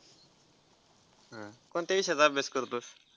हा कोणत्या विषयाचा अभ्यास करतोस?